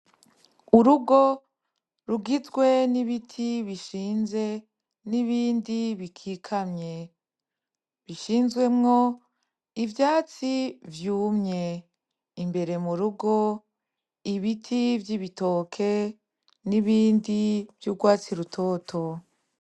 Urugo rugizwe n'ibiti bishinze n'ibindi bikikamye, bishinzwemwo ivyatsi vyumye, imbere m'urugo ibiti vy'ibitoki n'ibindi vy'urwatsi rutoto.